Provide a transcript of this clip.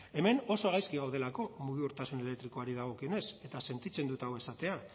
hemen oso gaizki gaudelako mugikortasun elektrikoari dagokionez eta sentitzen dut hau esatea